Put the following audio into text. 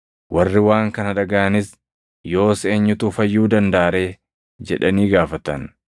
Warri waan kana dhagaʼanis, “Yoos eenyutu fayyuu dandaʼa ree?” jedhanii gaafatan.